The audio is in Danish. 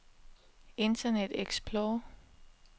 internet explorer